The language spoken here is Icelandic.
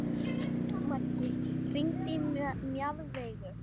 Maggi, hringdu í Mjaðveigu.